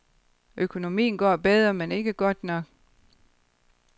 Økonomien går bedre, men ikke godt nok.